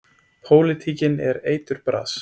Pólitíkin er eiturbras.